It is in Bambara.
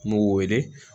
N b'u wele